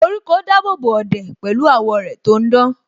Koríko dábòbò ọ̀dẹ̀ pẹ̀lú àwọ́ rẹ̀ tò ń dán